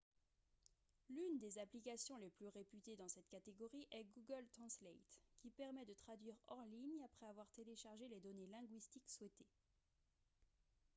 l'une des applications les plus réputées dans cette catégorie est google translate qui permet de traduire hors ligne après avoir téléchargé les données linguistiques souhaitées